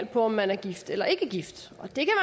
på om man er gift eller ikke gift